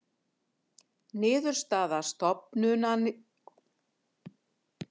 Niðurstaða stofnunarinnar ekki einstakra starfsmanna